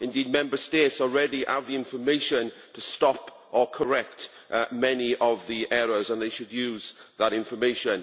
Indeed, they already have the information to stop or correct many of the errors, and they should use that information.